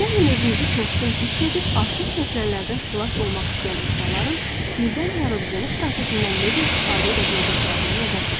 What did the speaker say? Gəlin özünü tosqun hiss edib artıq çəkilərdən xilas olmaq istəyən insanların sirdən yaradıcılıq prosesindən necə istifadə edə biləcəklərinə nəzər keçirək.